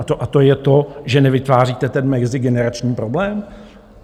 A to je to, že nevytváříte ten mezigenerační problém?